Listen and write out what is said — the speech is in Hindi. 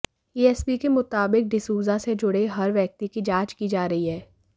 एएसपी के मुताबिक डिसूजा से जुड़े हर व्यक्ति की जांच की जा रही है